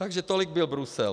Takže tolik byl Brusel.